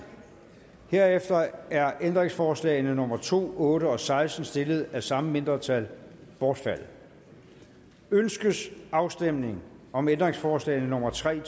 herefter er ændringsforslag nummer to otte og seksten stillet af samme mindretal bortfaldet ønskes afstemning om ændringsforslag nummer tre